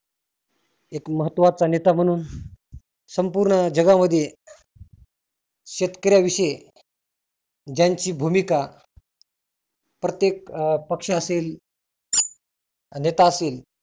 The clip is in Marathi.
एक महत्वाचा नेता म्हणून संपुर्ण जगामध्ये शेतकऱ्या विषयी ज्यांची भुमीका प्रत्येक पक्ष असेल नेता असेल.